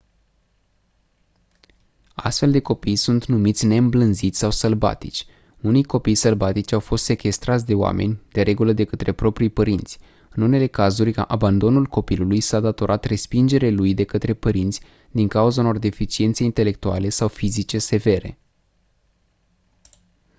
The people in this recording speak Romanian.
astfel de copii sunt numiți «neîmblânziți» sau sălbatici. unii copii sălbatici au fost sechestrați de oameni de regulă de către propriii părinți; în unele cazuri abandonul copilului s-a datorat respingerii lui de către părinți din cauza unor deficiențe intelectuale sau fizice severe.